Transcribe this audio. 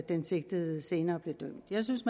den sigtede senere blev dømt jeg synes